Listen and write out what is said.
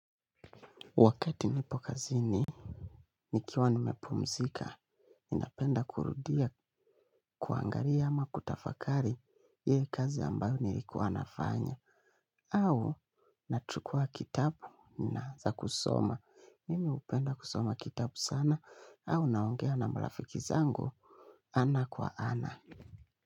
Wakati nipo kazini, nikiwa nimepumzika, ninapenda kurudia kuangalia ama kutafakari hii kazi ambayo nilikuwa nafanya. Au nachukua kitabu naanza kusoma. Mimi hupenda kusoma kitabu sana au naongea na marafiki zangu ana kwa ana.